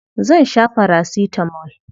Zan sha farasitamol.